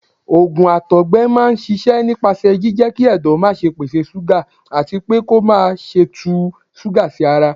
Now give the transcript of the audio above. Ògùn Àtọ̀gbẹ máa ń ṣisẹ́ nípasẹ̀ jíjẹ́kí Ẹ̀dọ̀ máṣe pèsè ṣúgà àti pé kó má ṣe tú ṣúgà sí ara.